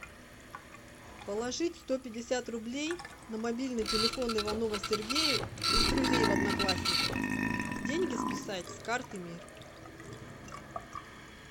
положить сто пятьдесят рублей на мобильный телефон иванова сергея из друзей в одноклассниках деньги списать с карты мир